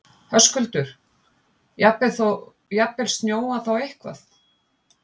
Höskuldur: Jafnvel snjóað þá eitthvað?